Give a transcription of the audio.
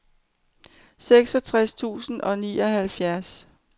seksogtres tusind og nioghalvfjerds